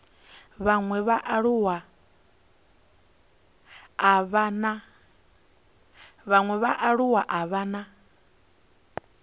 vhaṅwe vhaaluwa a vha na